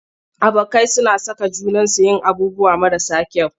Abokai suna saka junansu yin abubuwan marasa kyau.